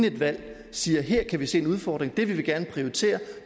et valg siger her kan vi se en udfordring det vil vi gerne prioritere